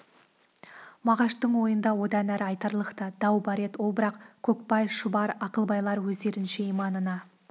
мағаштың ойында одан ары айтарлық та дау бар еді ол бірақ көкбай шұбар ақылбайлар өздерінше иманына